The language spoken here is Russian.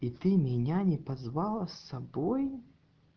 и ты меня не позвала с собой